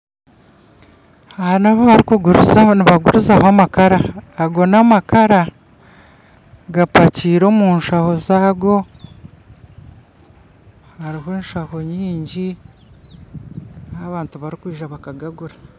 Aha n'ahu barikuguriza, nibagurizaho amakara ago n'amakara gapakiire omu nshaho zaago hariho enshaho nyingi ahu abantu barikwija bakagagura